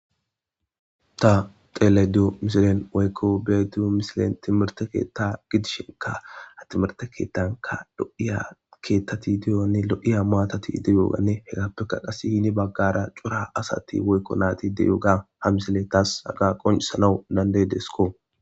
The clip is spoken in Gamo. Ta tele diyo misilen weykko beeduu misilen timirte keetta gidishinka a timirte keettanka do'iya keettati deyonne lo'iya maatati ideyoogane hegappeka qas hini baggara cura asati woykko naati deyooga ha misile taas haga qonsanau dandedesko.